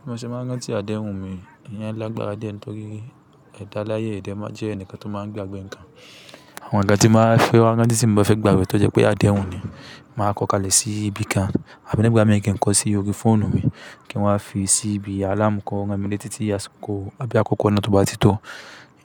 Bí mo ṣe máa ń rántí adéhùn mi, ìyẹn lágbára die ńtọ́rí, ẹ̀dá láyé ì dẹ̀ máa n jẹ́ ẹnìkan tó máa ń gbàgbé nǹkan. Àwọn nǹkan tí n bá fẹ́ wá, ranti tí ń bá fẹ́ gbàgbé tò jẹ́ pé adéhùn ni, màá kọ́ kalẹ̀ sí ibi kan. Àbí nígbà mìí, kí n kọ́ sí orí fóònù mi kí n wá fi sí ibi àlámù kan, ó ran mi letí ti àsìkò, àbí àkókò náà tó bá ti tó.